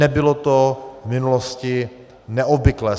Nebylo to v minulosti neobvyklé.